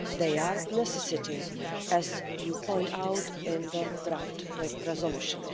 They are a necessity, as you point out in the draft resolution.